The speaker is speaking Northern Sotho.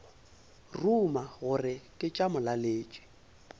ruma gore ke tša molaletši